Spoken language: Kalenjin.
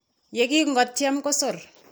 Yekingotiem kosor.